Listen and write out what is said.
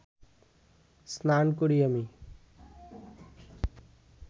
স্নান করি আমি